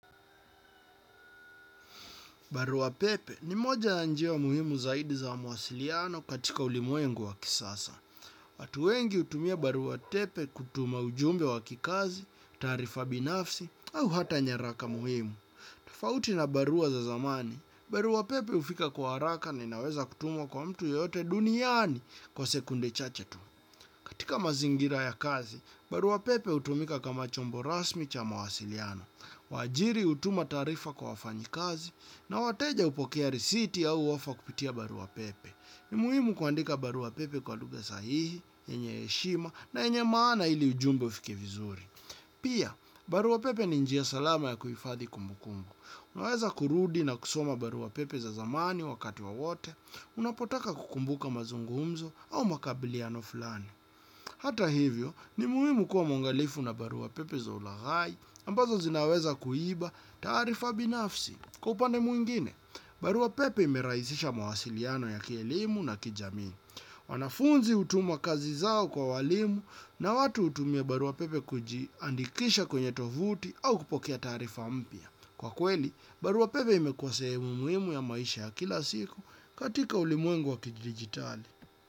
Barua pepe ni moja ya njia muhimu zaidi za mawasiliano katika ulimwengu wa kisasa. Watu wengi utumia barua tepe kutuma ujumbe wa kikazi, taarifa binafsi, au hata nyaraka muhimu. Tofauti na barua za zamani, barua pepe ufika kwa haraka na inaweza kutumwa kwa mtu yeyote duniani kwa sekunde chache tu. Tika mazingira ya kazi, barua pepe utumika kama chombo rasmi cha mawasiliano. Waajiri hutuma taarifa kwa wafanyikazi na wateja upokea risiti au ofa kupitia barua pepe. Ni muhimu kuandika barua pepe kwa lugha sahihi, yenye heshima na enye maana ili ujumbe ufike vizuri. Pia, barua pepe ni njia salama ya kuifadhi kumbu kumbu. Unaweza kurudi na kusoma barua pepe za zamani wakati wa wote. Unapotaka kukumbuka mazungumzo au makabiliano fulani. Hata hivyo, ni muhimu kuwa mwangalifu na barua pepe za ulaghai ambazo zinaweza kuiba taarifa binafsi. Kwa upande mwingine, barua pepe ime raisisha mawasiliano ya kielimu na kijamii. Wanafunzi hutuma kazi zao kwa walimu na watu utumia barua pepe kujiandikisha kwenye tovuti au kupokea taarifa mpya. Kwa kweli, barua pepe imekuwa sehemu muimu ya maisha ya kila siku katika ulimwengu wa kidigitali.